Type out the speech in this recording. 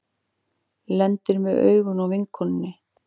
Lendir með augun á vinkonunni.